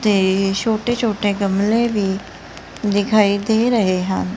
ਤੇ ਛੋਟੇ ਛੋਟੇ ਗਮਲੇ ਵੀ ਦਿਖਾਈ ਦੇ ਰਹੇ ਹਨ।